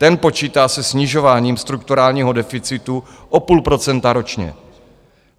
Ten počítá se snižováním strukturálního deficitu o půl procenta ročně.